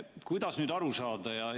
Kuidas sellest aru saada?